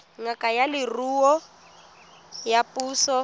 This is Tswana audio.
ngaka ya leruo ya puso